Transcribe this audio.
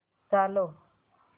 चालव